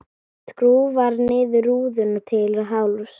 Skrúfar niður rúðuna til hálfs.